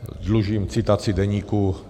Dlužím citaci deníku.